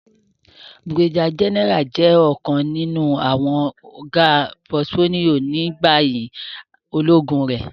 Brigadier General jẹ ọkan ninu awọn ga portfolio ni bayi ologun re.